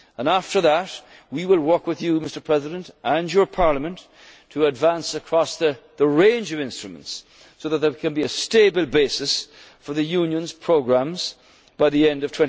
agreement on this. After that, we will work with you, Mr President, and your Parliament to advance across the range of instruments so that there can be a stable basis for the Union's programmes